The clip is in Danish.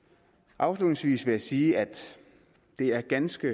afslutningsvis vil jeg sige at det er ganske